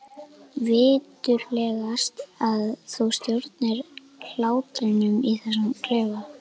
Viturlegast að þú stjórnir hlátrinum í þessum klefa.